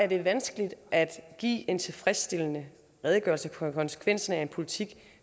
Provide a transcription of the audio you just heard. det vanskeligt at give en tilfredsstillende redegørelse for konsekvensen af en politik